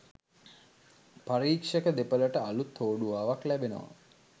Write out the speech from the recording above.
පරික්ෂක දේපළට අළුත් හෝඩුවාවක් ලැබෙනවා